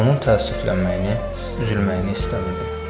Onun təəssüflənməyini, üzülməyini istəmirdim.